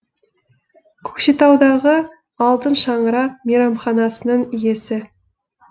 көкшетаудағы алтын шаңырақ мейрамханасының иесі